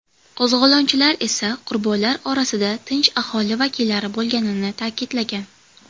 Qo‘zg‘olonchilar esa qurbonlar orasida tinch aholi vakillari bo‘lganini ta’kidlagan.